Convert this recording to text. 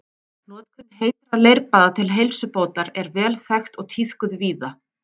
Notkun heitra leirbaða til heilsubótar er vel þekkt og tíðkuð víða.